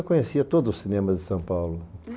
Eu conhecia todos os cinemas de São Paulo.